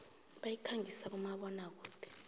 bayikhangisa kumabona kude